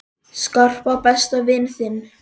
Skarpa, besta vin þinn!